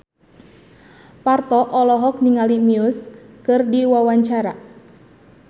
Parto olohok ningali Muse keur diwawancara